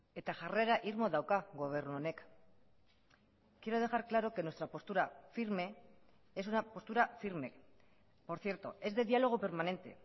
eta jarrera irmo dauka gobernu honek quiero dejar claro que nuestra postura firme es una postura firme por cierto es de diálogo permanente